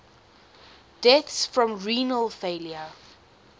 deaths from renal failure